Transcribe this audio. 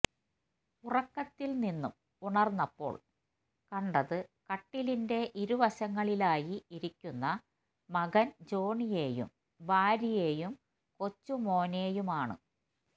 ഉറക്കത്തില് നിന്നും ഉണര്ന്നപ്പോള് കണ്ടത്കട്ടിലിന്റെ ഇരുവശങ്ങളിലായി ഇരിക്കുന്ന മകന് ജോണിയേയും ഭാര്യേയും കൊച്ചുമോനേയുമാണ്